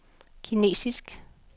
kinesisk